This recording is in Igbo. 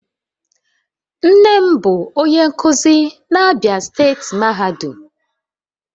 Nne m bu onye nkuzi na Abia steeti mahadum